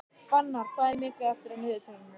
Fannar, hvað er mikið eftir af niðurteljaranum?